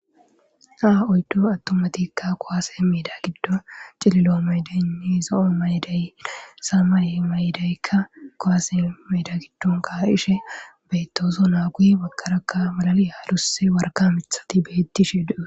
Ha oyddu attumatikka kuwase medan giddon c'ililo maydayinne zo'o mayiday samaye mayidaykka kuwase meeda giddon ka'ishe bettoosona guye bagaraka malali adusi warka mithatikka betishe de'osona.